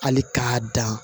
Hali k'a dan